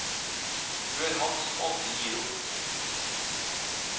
Du er han som aldri gir opp.